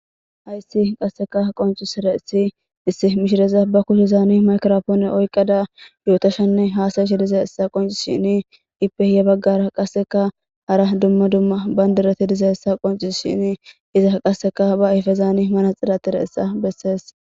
hayssi qasseka qonciserrays issi mishiraza ba kushezaani maykropoone oyqqada yootashanne haasayishi dizaysa qoncisishini ipe ya baggara qasseka hara dumma dumma bayndireti dizaysa qoncisidhini iza qasseka ba ayfezaani manaxire atidaysa bessees